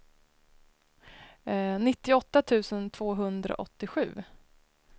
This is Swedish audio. nittioåtta tusen tvåhundraåttiosju